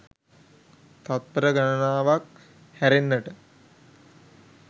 තත්පර ගණනාවක් හැරෙන්නට